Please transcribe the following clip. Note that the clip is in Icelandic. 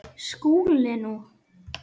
SKÚLI: Nú?